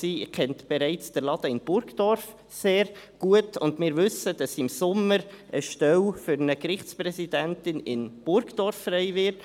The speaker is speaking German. sie kennt also den «Laden» in Burgdorf bereits sehr gut, und wir wissen, dass im Sommer eine Stelle für eine Gerichtspräsidentin in Burgdorf frei wird.